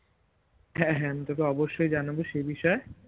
হ্যাঁ হ্যাঁ আমি তোকে অবশ্যই জানাবো সে বিষয়ে